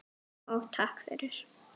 Og takk fyrir.